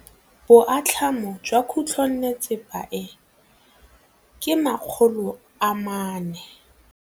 Boatlhamô jwa khutlonnetsepa e, ke 400.